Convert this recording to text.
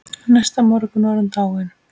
Næsta morgun var hún dáin.